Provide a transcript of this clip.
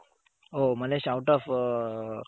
O Malaysia out off